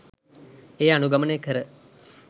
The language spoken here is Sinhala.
එය අනුගමනය කර